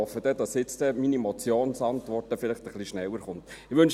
Ich hoffe, dass meine Motionsantwort vielleicht dann etwas schneller kommen wird.